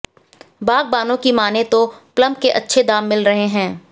बागबानों की मानें तो प्लम के अच्छे दाम मिल रहे है